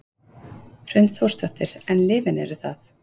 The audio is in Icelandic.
Hrund Þórsdóttir: En lyfin eru það?